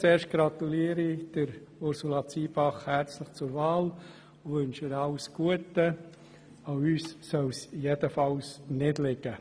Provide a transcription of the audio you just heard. Zuerst gratuliere ich Ursula Zybach herzlich zur Wahl und wünsche ihr alles Gute – an uns soll es jedenfalls nicht liegen.